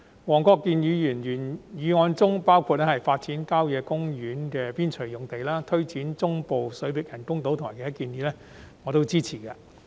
黃國健議員的原議案的建議包括發展郊野公園邊陲用地、推展中部水域人工島工程及其他建議，我全部都支持。